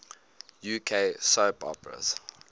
uk soap operas